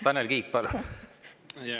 Tanel Kiik, palun!